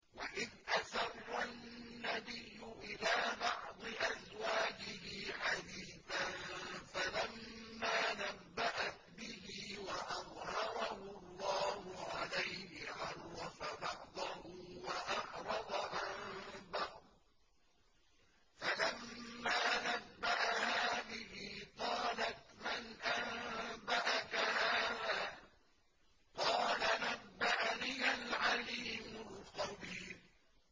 وَإِذْ أَسَرَّ النَّبِيُّ إِلَىٰ بَعْضِ أَزْوَاجِهِ حَدِيثًا فَلَمَّا نَبَّأَتْ بِهِ وَأَظْهَرَهُ اللَّهُ عَلَيْهِ عَرَّفَ بَعْضَهُ وَأَعْرَضَ عَن بَعْضٍ ۖ فَلَمَّا نَبَّأَهَا بِهِ قَالَتْ مَنْ أَنبَأَكَ هَٰذَا ۖ قَالَ نَبَّأَنِيَ الْعَلِيمُ الْخَبِيرُ